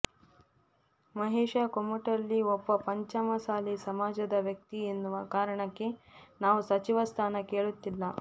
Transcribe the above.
ಮಹೇಶ ಕುಮಟಳ್ಳಿ ಒಬ್ಬ ಪಂಚಮಸಾಲಿ ಸಮಾಜದ ವ್ಯಕ್ತಿ ಎನ್ನುವ ಕಾರಣಕ್ಕೆ ನಾವು ಸಚಿವ ಸ್ಥಾನ ಕೇಳುತ್ತಿಲ್ಲ